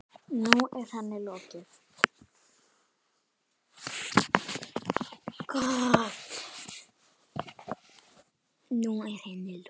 Nú er henni lokið.